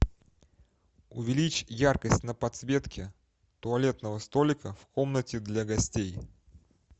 увеличь яркость на подсветке туалетного столика в комнате для гостей